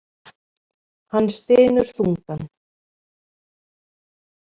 Hann stynur þungan.